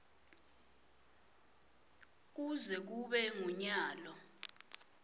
kuze kube ngunyalo